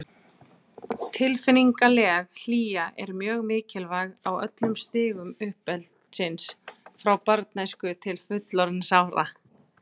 Tilfinningaleg hlýja er mjög mikilvæg á öllum stigum uppeldisins, frá barnæsku til fullorðinsára.